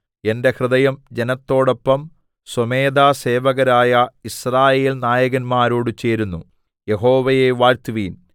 എന്റെ ഹൃദയം ജനത്തോടൊപ്പം സ്വമേധാസേവകരായ യിസ്രായേൽനായകന്മാരോട് ചേരുന്നു യഹോവയെ വാഴ്ത്തുവിൻ